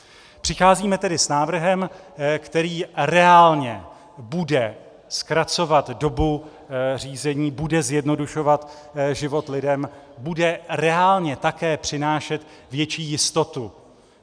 Přicházíme tedy s návrhem, který reálně bude zkracovat dobu řízení, bude zjednodušovat život lidem, bude reálně také přinášet větší jistotu.